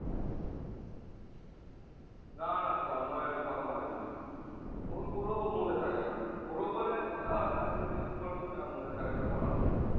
না না তন্ময়ের কথা হয়নি phone করবো মনে থাকে না করবো বলে এ হয় আমি বলি একটু পর করছি আর মনে থাকে না করা হয় না